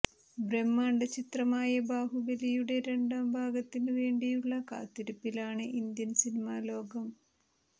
ബ്രഹ്മാണ്ഡ ചിത്രമായ ബാഹുബലിയുടെ രണ്ടാം ഭാഗത്തിന് വേണ്ടിയുള്ള കാത്തിരിപ്പിലാണ് ഇന്ത്യൻ സിനിമാ ലോകം